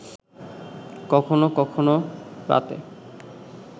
কখনও কখনও রাতে